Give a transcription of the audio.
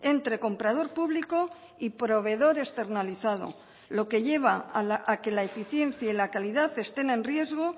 entre comprador público y proveedor externalizado lo que lleva a que la eficiencia y la calidad estén en riesgo